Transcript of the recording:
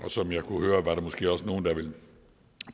som jeg har kunnet høre var der måske også nogle der ville